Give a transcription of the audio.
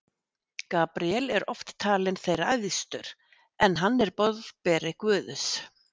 Gabríel er oft talinn þeirra æðstur, en hann er boðberi Guðs.